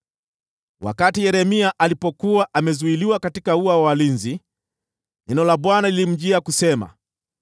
Wakati Yeremia alipokuwa amezuiliwa katika ua wa walinzi, neno la Bwana lilimjia kusema: